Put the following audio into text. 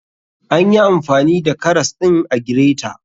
Anyi amfani karas ɗin a gireta